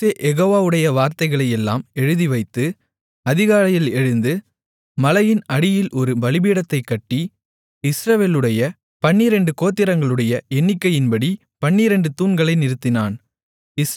மோசே யெகோவாவுடைய வார்த்தைகளையெல்லாம் எழுதிவைத்து அதிகாலையில் எழுந்து மலையின் அடியில் ஒரு பலிபீடத்தைக் கட்டி இஸ்ரவேலுடைய பன்னிரண்டு கோத்திரங்களுடைய எண்ணிக்கையின்படி பன்னிரண்டு தூண்களை நிறுத்தினான்